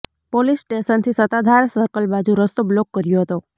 police સ્ટેશનથી Sattadhar circle બાજુ રસ્તો બ્લોક કર્યો હતો